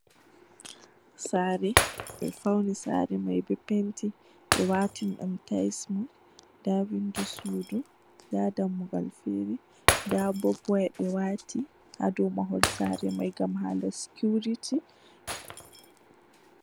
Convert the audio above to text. Saare, ɓe fawni saare man bee penti, ɓe waatani ɗum taays mum, ndaa winndo suudu man ndaa dammugal feere, ndaa bab-waya ɓe waati haa dow mahol man ngam haala sikiwrity.